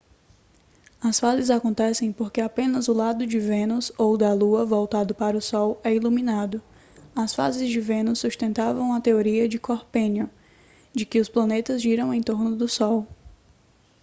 as fases acontecem porque apenas o lado de vênus ou da lua voltado para o sol é iluminado. as fases de vênus sustentavam a teoria de copérnico de que os planetas giram em torno do sol